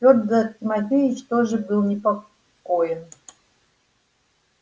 фёдор тимофеич тоже был непокоен